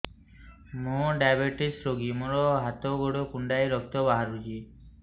ମୁ ଡାଏବେଟିସ ରୋଗୀ ମୋର ହାତ ଗୋଡ଼ କୁଣ୍ଡାଇ ରକ୍ତ ବାହାରୁଚି